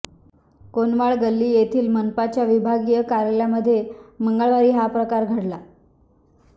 कोनवाळ गल्ली येथील मनपाच्या विभागीय कार्यालयामध्ये मंगळवारी हा प्रकार घडला